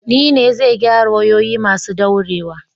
Ni ne zai gyara wayoyi masu daurewa